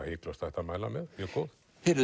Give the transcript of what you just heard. hiklaust hægt að mæla með mjög góð